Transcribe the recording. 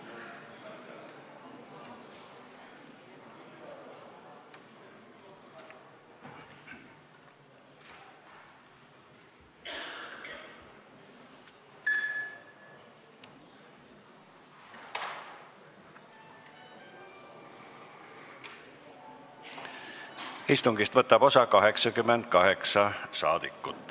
Kohaloleku kontroll Istungist võtab osa 88 rahvasaadikut.